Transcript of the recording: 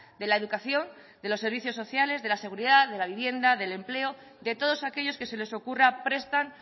de la educación de los servicios sociales de la seguridad de la vivienda del empleo de todos aquellos que se les ocurra prestan